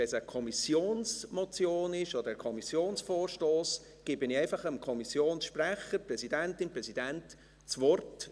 Wenn es eine Kommissionsmotion oder ein Kommissionsvorstoss ist, gebe ich einfach dem Kommissionssprecher, der Präsidentin, dem Präsidenten, das Wort.